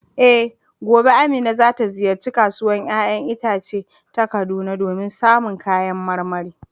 Eh, gobe Amina za ta ziyarci Kasuwar ‘ya’yan itace ta Kaduna domin samun kayan marmari.